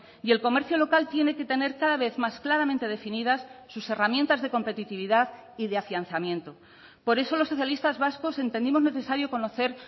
y el comercio local tiene que tener cada vez más claramente definidas sus herramientas de competitividad y de afianzamiento por eso los socialistas vascos entendimos necesario conocer